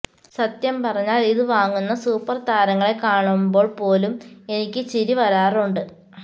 സത്യം പറഞ്ഞാല് ഇത് വാങ്ങുന്ന സൂപ്പര് താരങ്ങളെ കാണുമ്പോള് പോലും എനിക്ക് ചിരി വരാറുണ്ട്